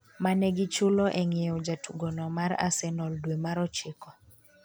mane gichulo e ng'iewo jatugo no mar Arsenal dwe mar ochiko